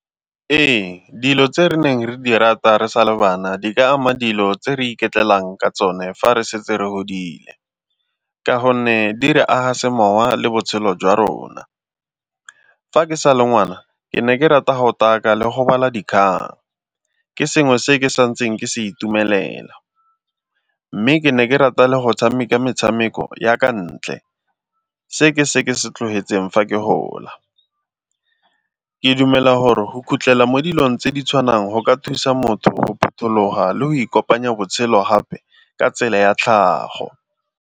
Ee, dilo tse re neng re di rata re sa le bana di ka ama dilo tse re iketlelang ka tsone fa re setse re godile ka gonne di re aga semowa le botshelo jwa rona. Fa ke sa le ngwana ke ne ke rata ga o taka le go bala dikgang, ke sengwe se ke sa ntseng ke se itumelela, mme ke ne ke rata le go tshameka metshameko ya kwa ntle, se ke se ke se tlogetseng fa ke gola. Ke dumela gore go khutlela mo dilong tse di tshwanang go ka thusa motho go phuthuloga le go ikopanya botshelo gape ka tsela ya tlhago.